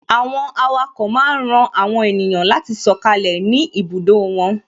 Àwọn awako máa ń ran àwọn ènìyàn láti sọkalẹ ni ibùdó wọn